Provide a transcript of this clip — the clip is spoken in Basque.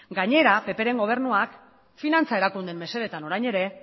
gainera ppren gobernuak finantza erakundeen mesedetan orain ere